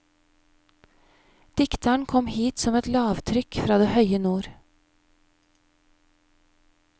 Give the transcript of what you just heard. Dikteren kom hit som et lavtrykk fra det høye nord.